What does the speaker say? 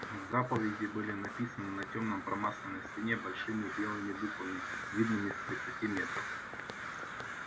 заповеди были написаны на тёмной промасленной стене большими белыми буквами видными с тридцати метров